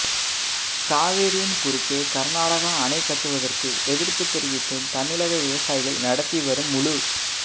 காவிரியின் குறுக்கே கர்நாடகா அணை கட்டுவதற்கு எதிர்ப்பு தெரிவித்து தமிழக விவசாயிகள் நடத்தி வரும் முழு